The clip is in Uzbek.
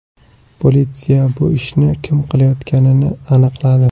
Politsiya bu ishni kim qilayotganini aniqladi.